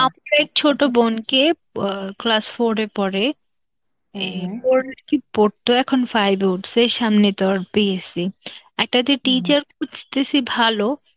ছোট বোনকে অ class four এ পড়ে, পর কি পড়তো এখন five এ উঠছে, সামনে তার PSC . একটা যে teacher খুঁজতেছি ভালো,